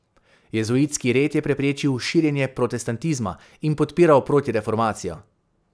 Jezuitski red je preprečil širjenje protestantizma in podpiral protireformacijo.